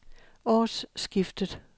årsskiftet